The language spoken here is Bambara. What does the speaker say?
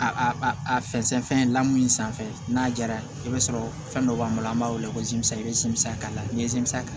A a a a fɛnsɛ fɛn lamɔ min sanfɛ n'a jara i b'a sɔrɔ fɛn dɔ b'an bolo an b'a weele ko jiminsa i bɛ simisi k'a la n'i ye ta